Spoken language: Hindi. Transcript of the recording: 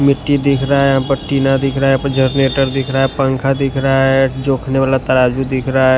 मिट्टी दिख रहा है। यहाँ पे टीना दिख रहा है। यहाँ पे जनरेटर दिख रहा है पंखा दिख रहा है जोखने वाला तराजू दिख रहा है।